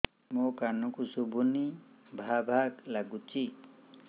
ମୋ କାନକୁ ଶୁଭୁନି ଭା ଭା ଲାଗୁଚି